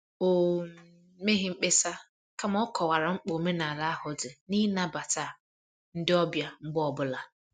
O um meghị mkpesa, kama ọ kọwara mkpa omenala ahụ dị n' ịnabata ndị ọbịa mgbe ọ bụla